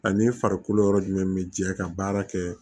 Ani farikolo yɔrɔ jumɛn bi jɛ ka baara kɛ